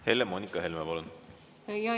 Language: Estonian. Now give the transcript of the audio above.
Helle‑Moonika Helme, palun!